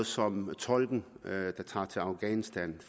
som med tolken der tager til afghanistan